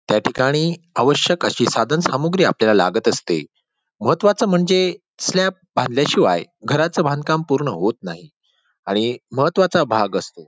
त्या ठिकाणी आवश्यक अशी साधनसामग्री आपल्याला लागत असते महत्त्वाच म्हणजे स्लॅब बांधल्या शिवाय घराच बांधकाम पूर्ण होत नाही आणि महत्त्वाचा भाग असतो.